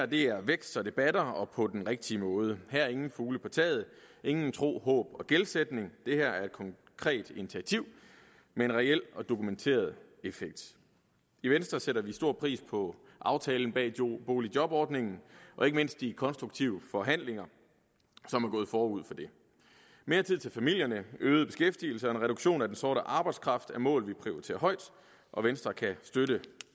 det her er vækst så det batter og på den rigtige måde her er ingen fugle på taget ingen tro håb og gældsætning det her er et konkret initiativ med en reel og dokumenteret effekt i venstre sætter vi stor pris på aftalen bag boligjobordningen og ikke mindst de konstruktive forhandlinger som er gået forud for det mere tid til familierne øget beskæftigelse og en reduktion af den sorte arbejdskraft er mål vi prioriterer højt og venstre kan støtte